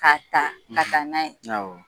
Ka taa; ka taa n'a ye; Awɔ.